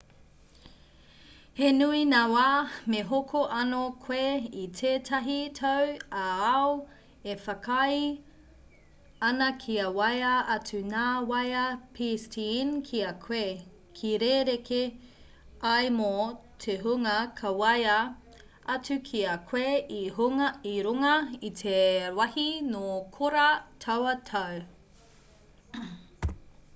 he nui ngā wā me hoko anō koe i tētahi tau ā-ao e whakaae ana kia waea atu ngā waea pstn ki a koe ka rerekē ai mō te hunga ka waea atu ki a koe i runga i te wāhi nō korā taua tau